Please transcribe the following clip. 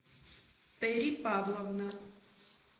терри павловна